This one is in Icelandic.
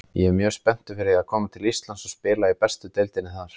Ég er mjög spenntur fyrir að koma til Íslands og spila í bestu deildinni þar.